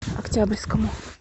октябрьскому